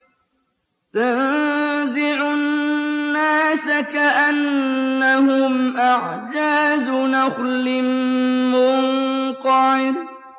تَنزِعُ النَّاسَ كَأَنَّهُمْ أَعْجَازُ نَخْلٍ مُّنقَعِرٍ